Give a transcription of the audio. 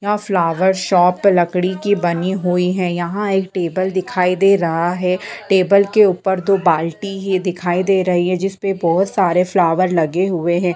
यहाँ flower shop है लकड़ी की बनी हुई है यहाँ एक टेबल दिखाई दे रहे है। टेबल के ऊपर दो बाल्टी ही दिखाई दे रही है जिसपे बहुत सारे फ्लॉवर लगे हुए हैं।